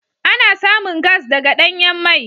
Ana samun gas daga danyan mai.